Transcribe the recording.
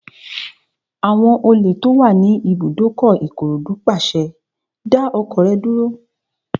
Àwọn olè tó wà ní ibùdókọ̀ Ìkòròdú pàṣẹ, "dá ọkọ̀ rẹ dúró!"